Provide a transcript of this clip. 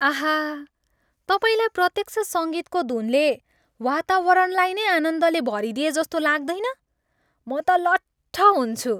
आहा! तपाईँलाई प्रत्यक्ष सङ्गीतको धुनले वातावरणलाई नै आनन्दले भरिदएजस्तो लाग्दैन? म त लट्ठ हुन्छु।